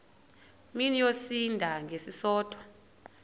mini yosinda ngesisodwa